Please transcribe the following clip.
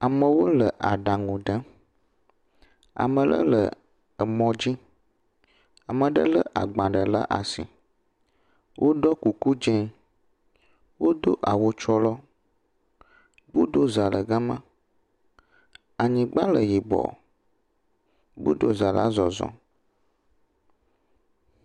Amewo le aɖaŋu ɖem, ame aɖe le mɔ dzi, ame aɖe lé agbalẽ ɖe asi. Woɖɔ kuku dzɛ̃, wodo awu tsrolɔ, gbodoza le gema, anyigba le yibɔ, gbodoza la zɔzɔm.